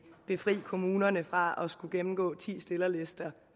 befri kommunerne fra at skulle gennemgå ti stillerlister